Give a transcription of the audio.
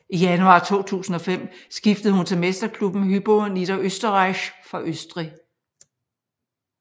I januar 2005 skiftede hun til mesterklubben Hypo Niederösterreich fra Østrig